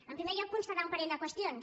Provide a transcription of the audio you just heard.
en primer lloc constatar un parell de qüestions